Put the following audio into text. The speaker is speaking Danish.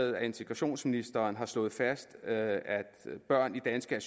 at integrationsministeren har slået fast at børn i danske